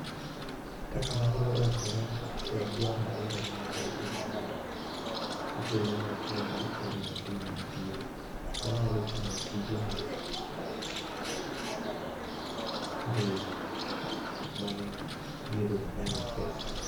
Kaka nanyalo rakora kod dwaro mar omenda e kinde mar, e thuolo ma tuo mar Covid 19 ne nitie, nanyalo timo tije mag mbui ma ne, dierego ne nya miyi pesa.